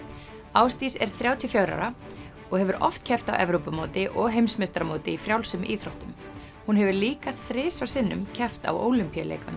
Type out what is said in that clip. Ásdís er þrjátíu og fjögurra ára og hefur oft keppt á Evrópumóti og heimsmeistaramóti í frjálsum íþróttum hún hefur líka þrisvar sinnum keppt á Ólympíuleikunum